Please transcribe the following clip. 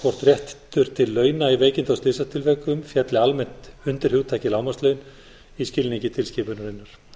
hvort réttur til launa í veikinda og slysatilvikum félli almennt undir hugtakið lágmarkslaun í skilningi tilskipunarinnar